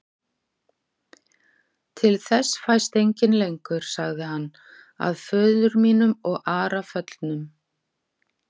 Til þess fæst enginn lengur, sagði hann,-að föður mínum og Ara föllnum.